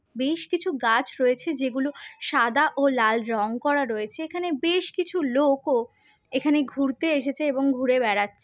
বেশ কিছু গাছ রয়েছে যেগুলো সাদা ও লাল রং করা রয়েছে এখানে বেশকিছু লোক ও এখানে ঘুরতে এসেছে এবং ঘুরে বেড়াছে।